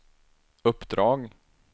uppdrag